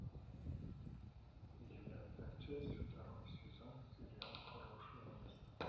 девятая часть второй сезон сериал хорошее место